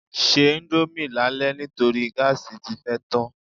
Se íńdómì lálẹ́ nítorí gáàsì tí fẹ́ tán.